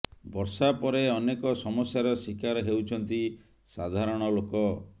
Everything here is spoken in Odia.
ବର୍ଷା ପରେ ଅନେକ ସମସ୍ୟାର ଶିକାର ହେଉଛନ୍ତି ସାଧାରଣ ଲୋକ